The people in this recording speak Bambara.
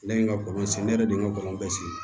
Ne ye n ka kɔlɔn sen ne yɛrɛ de ye n ka kɔlɔn bɛɛ sen